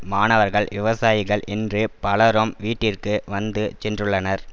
மாணவர்கள் விவசாயிகள் என்று பலரும் வீட்டிற்கு வந்து சென்றுள்ளனர்